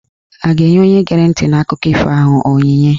A ga-enye onye gere ntị n'akụkọ ifo ahụ onyinye?